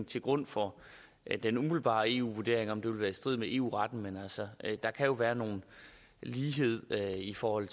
til grund for den umiddelbare eu vurdering og om det vil være i strid med eu retten men der kan være nogle lighedshensyn i forhold